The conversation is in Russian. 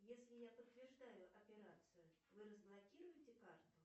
если я подтверждаю операцию вы разблокируете карту